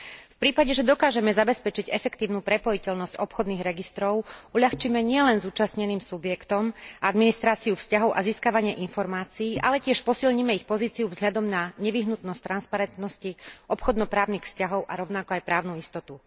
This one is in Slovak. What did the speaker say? V prípade, že dokážeme zabezpečiť efektívnu prepojiteľnosť obchodných registrov, uľahčíme nielen zúčastneným subjektom administráciu vzťahov a získavanie informácií, ale tiež posilníme ich pozíciu vzhľadom na nevyhnutnosť transparentnosti obchodno právnych vzťahov a rovnako aj právnu istotu.